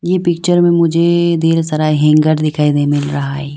ये पिक्चर में मुझे ढेर सारा हैंगर दिखाई दे मिल रहा है।